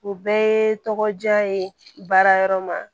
U bɛɛ ye tɔgɔ diya ye baarayɔrɔ ma